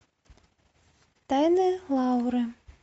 тайны лауры